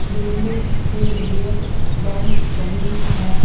लिखने के लिए बेंच बनी है ।